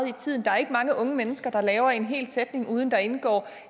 i tiden der er ikke mange unge mennesker der laver en hel sætning uden at der indgår